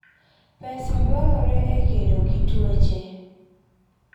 Pesa dwarore e kedo gi tuoche.